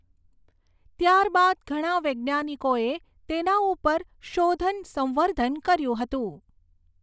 ત્યારબાદ ઘણા વૈજ્ઞાનિકોએ તેના ઉપર શોધન સંવર્ધન કર્યું હતું.